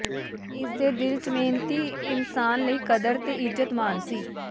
ਇਸ ਦੇ ਦਿਲ ਚ ਮਿਹਨਤੀ ਇਨਸਾਨ ਲਈ ਕਦ੍ਹਰ ਤੇ ਇੱਜਤ ਮਾਨ ਸੀ